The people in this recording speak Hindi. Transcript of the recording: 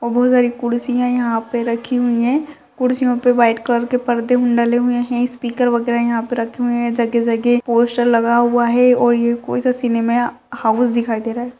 और बहुत सारी कुर्सिया यहाँ पे रखीं हुई हैं कुर्सियों पे व्हाइट कलर के पर्दे डले हुए है स्पीकर वगैरा यहाँ पे रखें हुए है जगे जगे पोस्टर लगा हुआ है और ये कोईसा सिनेमा हाउस दिखाई दे रहा है।